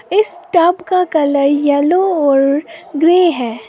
इस टॉब का कलर येलो और ग्रे है।